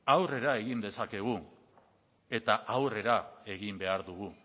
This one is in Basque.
aurrera egin dezakegu eta aurrera egin behar dugu